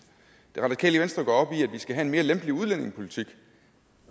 det radikale venstre går op i at vi skal have en mere lempelig udlændingepolitik